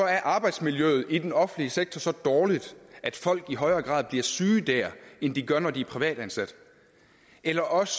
er arbejdsmiljøet i den offentlige sektor så dårligt at folk i højere grad bliver syge der end de gør når de er privatansatte eller også